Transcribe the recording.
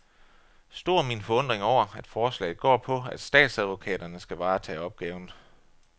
Stor er min forundring over, at forslaget går på, at statsadvokaterne skal varetage opgaven.